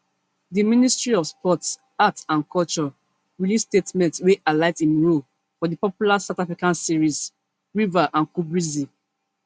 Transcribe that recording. di ministry of sports art and culture release statement wey highlight im role for di popular south african series river and cobrizzi